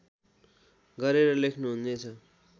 गरेर लेख्नुहुनेछ